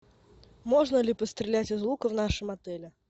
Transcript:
можно ли пострелять из лука в нашем отеле